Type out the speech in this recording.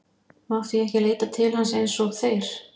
Mátti ég ekki leita til hans eins og þeir?